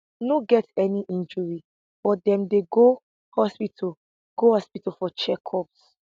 no get any injury but dem go hospital go hospital for checkups